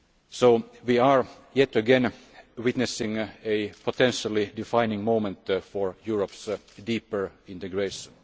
So we are, yet again, witnessing a potentially defining moment for Europe's deeper integration.